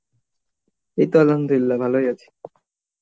এই তো আলহামদুলিল্লাহ ভালোই আছি